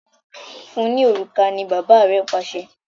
Fún ní òrùka! ní bàbá rẹ Pàṣẹ.